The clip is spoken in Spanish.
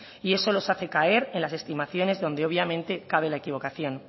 y eso les hace caer en las estimaciones donde obviamente cabe la equivocación